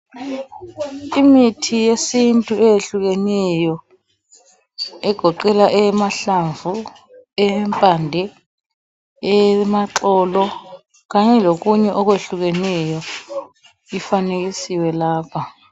Imithi yesintu eyehlukeneyo egoqela eyamahlamvu, eyempande, eyamaxolo kanye lokunye okwehlukeneyo ifanekisiwe lapha.